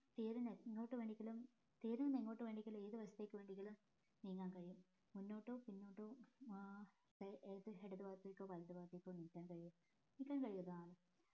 തീരിനെ എങ്ങോട്ട് വേണമെങ്കിലും തീർനെ എങ്ങോട്ട് വേണമെങ്കിലും ഏത് വശത്തേക്ക് വേണമെങ്കിലും നീങ്ങാൻ കഴിയും മുന്നോട്ടോ പിന്നോട്ടോ ആഹ് ഏത് ഇടത് ഭാഗത്തേക്കോ വലത് ഭാഗത്തേക്കോ നിക്കാൻ കഴിയും നിക്കാൻ കഴിയുന്നതാണ്